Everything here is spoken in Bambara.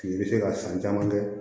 I bɛ se ka san caman kɛ